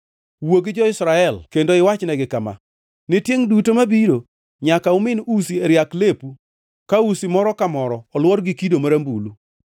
“Wuo gi jo-Israel kendo iwachnegi kama: ‘Ne tiengʼ duto mabiro nyaka umin usi e riak lepu ka usi moro ka moro olwor gi kido marambulu.